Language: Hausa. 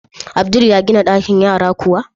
Abdul ya gina ɗakin yara kuwa?